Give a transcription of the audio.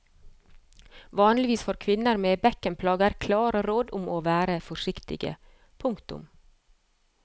Vanligvis får kvinner med bekkenplager klare råd om å være forsiktige. punktum